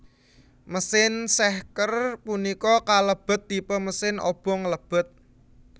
Mesin sehker punika kalebet tipe mesin obong lebet